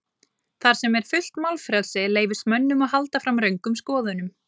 Þar sem er fullt málfrelsi leyfist mönnum að halda fram röngum skoðunum.